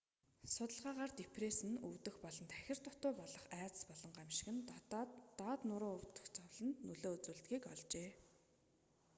судалгаагаар депресс нь өвдөх болон тахир дутаа болох айдас болон гамшиг нь доод нуруу өвдөх зовлонд нөлөө үзүүлдэгийг олжээ